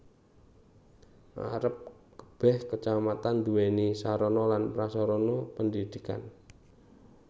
Arep kebeh Kacamatan duwéni sarana lan prasarana pendidikan